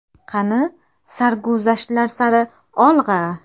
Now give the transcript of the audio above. Qani, sarguzashtlar sari olg‘a!